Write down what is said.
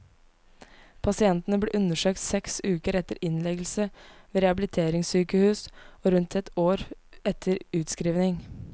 Pasientene ble undersøkt seks uker etter innleggelse ved rehabiliteringssykehus og rundt ett år etter utskriving.